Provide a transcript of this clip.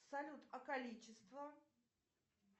салют а количество